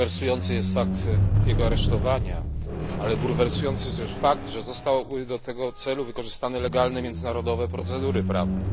Bulwersujący jest fakt jego aresztowania, ale bulwersujący jest też fakt, że zostały do tego celu wykorzystane legalne międzynarodowe procedury prawne.